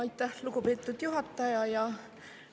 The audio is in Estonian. Aitäh, lugupeetud juhataja!